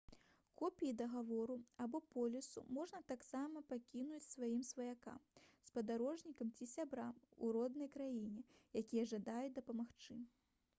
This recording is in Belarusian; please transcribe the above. копіі дагавору або полісу можна таксама пакінуць сваім сваякам спадарожнікам ці сябрам у роднай краіне якія жадаюць дапамагчы